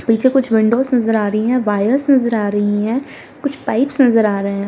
पीछे कुछ विंडोज नजर आ रही हैं वायर्स नजर आ रही हैं कुछ पाइप्स नजर आ रहे हैं।